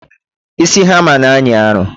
Isi hama na anyị arụ